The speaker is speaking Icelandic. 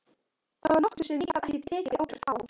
Það var nokkuð sem ég gat ekki tekið ábyrgð á.